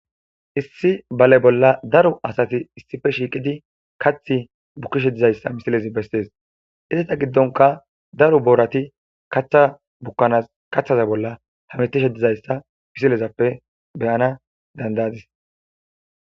Issi bale bolla daro asati issife shiiqidi kath bukkishe dizayssa misilezi bessees isseta giddonka daro boorati katha bukkanas kaththaza bolla hamitishedizayssa pisilezappe beyana dandayadis.